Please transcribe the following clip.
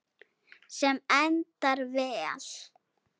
Sem endar vel.